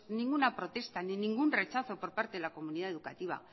ninguna protesta ni ningún rechazo por parte de la comunidad educativa